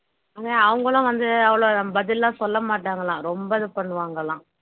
ஆனா அவங்களும் வந்து அவ்வளவு பதில் எல்லாம் சொல்ல மாட்டாங்களாம் ரொம்ப இது பண்ணுவாங்களாம்